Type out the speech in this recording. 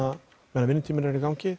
vinnutíminn er í gangi